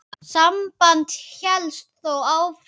Samband hélst þó áfram.